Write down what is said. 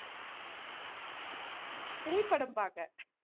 three படம் பார்க்க